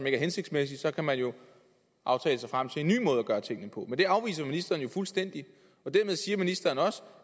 er hensigtsmæssig så kan man jo aftale sig frem til en ny måde at gøre tingene på men det afviser ministeren jo fuldstændig og dermed siger ministeren også